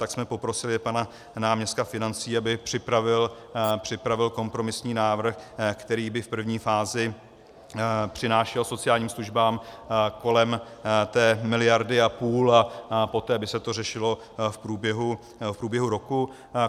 Tak jsme poprosili pana náměstka financí, aby připravil kompromisní návrh, který by v první fázi přinášel sociálním službám kolem té miliardy a půl, a poté by se to řešilo v průběhu roku.